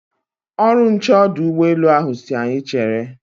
Ọrụ nche ọdụ ụgbọ elu ahụ si anyị chere.